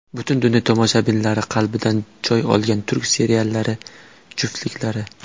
Butun dunyo tomoshabinlari qalbidan joy olgan turk seriallari juftliklari .